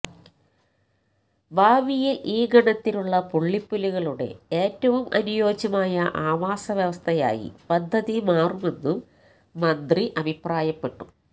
ഭാവിയിൽ ഈ ഗണത്തിലുള്ള പുള്ളിപ്പുലികളുടെ ഏറ്റവും അനുയോജ്യമായ ആവാസ വ്യവസ്ഥായി പദ്ധതി മാറുമെന്നും മന്ത്രി അഭിപ്രായപ്പെട്ടു